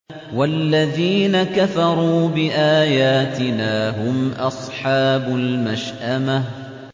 وَالَّذِينَ كَفَرُوا بِآيَاتِنَا هُمْ أَصْحَابُ الْمَشْأَمَةِ